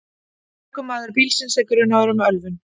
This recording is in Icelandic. Ökumaður bílsins er grunaður um ölvun